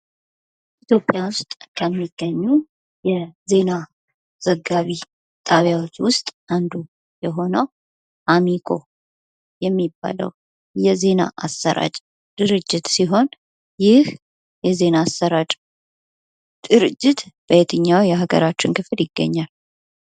ኢትዮጵያ ውስጥ ከሚገኙ የዜና ዘጋቢ ጣቢያዎች ውስጥ አንዱ የሆነው አሚኮ የሚባለው የዜና አሰራጭ ድርጅት ሲሆን ይህ የዜና አሰራጭ ድርጅት በየትኛው የሀገራችን ክፍል ይገኛል ?